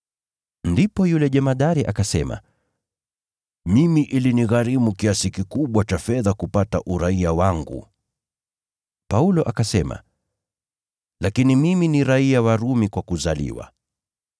Ndipo yule jemadari akasema, “Mimi ilinigharimu kiasi kikubwa cha fedha kupata uraia wangu.” Paulo akasema “Lakini mimi ni raiya wa Rumi kwa kuzaliwa.”